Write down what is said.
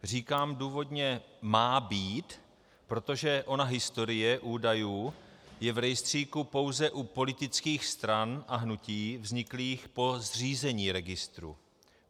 Říkám důvodně "má být", protože ona historie údajů je v rejstříku pouze u politických stran a hnutí vzniklých po zřízení registru.